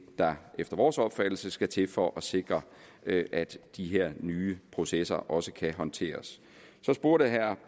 der efter vores opfattelse skal til for at sikre at at de her nye processer også kan håndteres så spurgte herre